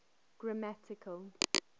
grammatical